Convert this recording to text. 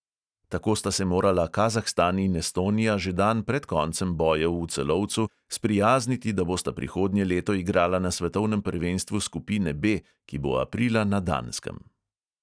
Tako sta se morala kazahstan in estonija že dan pred koncem bojev v celovcu sprijazniti, da bosta prihodnje leto igrala na svetovnem prvenstvu skupine B, ki bo aprila na danskem.